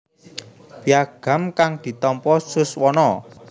Piagam kang ditampa Suswono